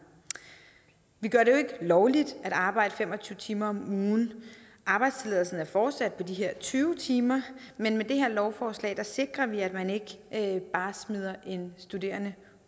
vi gør det jo ikke lovligt at arbejde fem og tyve timer om ugen arbejdstilladelsen er fortsat på de her tyve timer men med det her lovforslag sikrer vi at man ikke bare smider en studerende